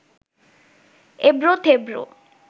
এবড়ো থেবড়ো